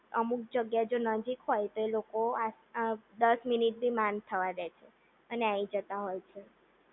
અમુક જગ્યાએ જો નજીક હોય તો એ લોકો દસ મિનિટ ભી માંડ થવા દે છે અને આઈ જતાં હોય છે.